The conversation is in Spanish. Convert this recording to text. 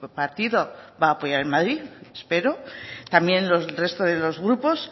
partido va a apoyar en madrid espero también los resto de los grupos